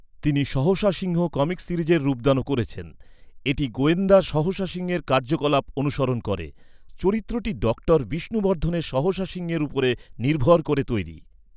তিনি সহসা সিংহ কমিক সিরিজের রূপদানও করেছেন। এটি গোয়েন্দা সহসা সিংহের কার্যকলাপ অনুসরণ করে। চরিত্রটি ডক্টর বিষ্ণুবর্ধনের সহসা সিংহের উপরে নির্ভর করে তৈরি।